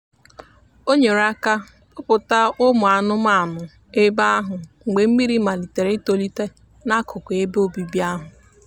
o nyere aka kpọpụ ụmụ anụmanụ ebe ahụ mgbe mmiri malitere itolite n'akụkụ ebe obibi ahụ.